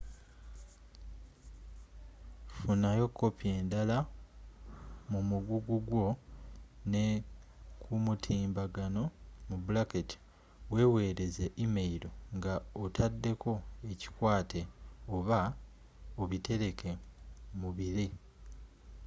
funayo kopi endala mu muguggu gwo ne kumutimbagano wewereze e-mail nga otadeko ekikwate oba obitereke mubire”